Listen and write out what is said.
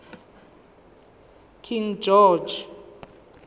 king george